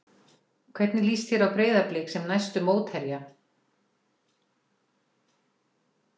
Hvernig líst þér á Breiðablik sem næstu mótherja?